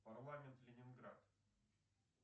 парламент ленинград